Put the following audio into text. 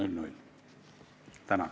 Tänan!